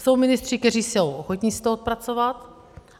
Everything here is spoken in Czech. Jsou ministři, kteří jsou ochotni si to odpracovat.